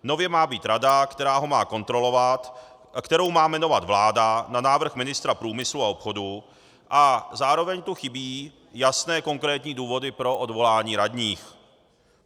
Nově má být rada, která ho má kontrolovat, kterou má jmenovat vláda na návrh ministra průmyslu a obchodu, a zároveň tu chybí jasné konkrétní důvody pro odvolání radních.